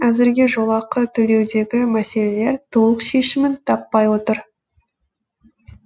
әзірге жолақы төлеудегі мәселелер толық шешімін таппай отыр